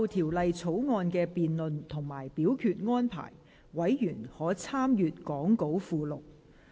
就條例草案的辯論及表決安排，委員可參閱講稿附錄。